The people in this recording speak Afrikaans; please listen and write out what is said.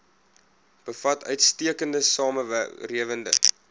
bevat uitstekende swamwerende